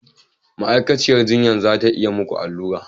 Ma'aikaciyar jinya za ta yi muku allura.